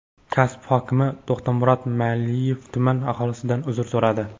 Kasbi hokimi To‘xtamurod Meyliyev tuman aholisidan uzr so‘radi.